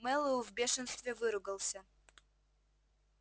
мэллоу в бешенстве выругался